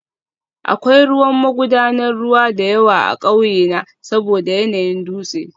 Akwai ruwan magudanar ruwa da yawa a ƙauyena saboda yanayin dutse